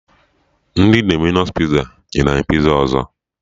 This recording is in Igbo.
Ndị Dominos Piza nyere anyị piza ọzọ